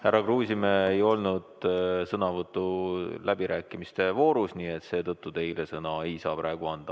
Härra Kruusimäel ei olnud sõnavõttu läbirääkimiste voorus, nii et seetõttu teile sõna ei saa praegu anda.